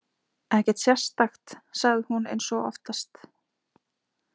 Ekkert sérstakt, sagði hún eins og oftast.